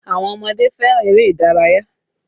Àwọn ọmọdé fẹ́ràn eré ìdárayá